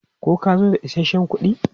Ko ka zo da isasshen kuɗi?